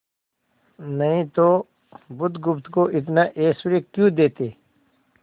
नहीं तो बुधगुप्त को इतना ऐश्वर्य क्यों देते